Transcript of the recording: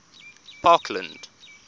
parkland